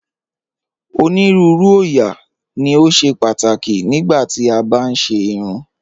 Onírùúrù oóyà lo ṣẹ̀ pátákì nígbà tí a bá n ṣè irùn